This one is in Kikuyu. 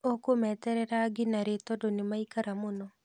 ũkũmeterera nginya rĩ tondũ nĩmaikara mũno?